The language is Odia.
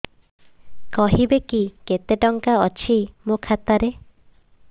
କହିବେକି କେତେ ଟଙ୍କା ଅଛି ମୋ ଖାତା ରେ